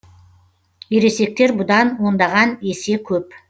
ересектер бұдан ондаған есе көп